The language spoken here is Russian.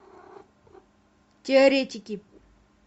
теоретики